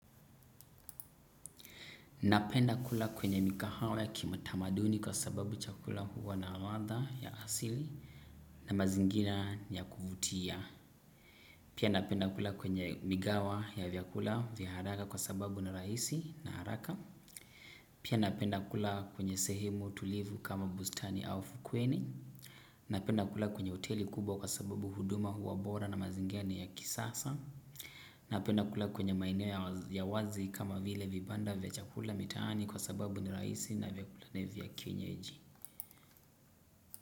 Napenda kula kwenye mikahawa ki matamaduni kwa sababu chakula huwa na ladha ya asili na mazingira ya kuvutia. Pia napenda kula kwenye migawa ya vyakula vya haraka kwa sababu na rahisi na haraka. Pia napenda kula kwenye sehemu tulivu kama bustani au fukweni. Napenda kula kwenye hoteli kubwa kwa sababu huduma huwa bora na mazingira ni ya kisasa. Na penda kula kwenye maeneo ya wazi kama vile vibanda vya chakula mitaani kwa sababu ni rahisi na vyakula ni vya kienyeji.